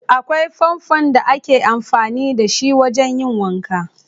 Akwai fanfon da ake amfani da shi wajen yin wanka.